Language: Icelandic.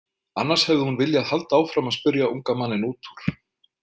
Annars hefði hún viljað halda áfram að spyrja unga manninn út úr.